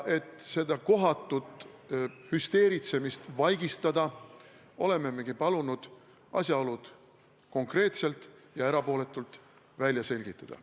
Et seda kohatut hüsteeritsemist vaigistada, olemegi me palunud asjaolud konreetselt ja erapooletult välja selgitada.